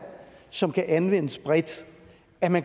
som kan anvendes bredt